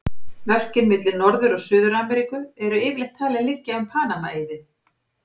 Mörkin milli Norður- og Suður-Ameríku eru yfirleitt talin liggja um Panama-eiði.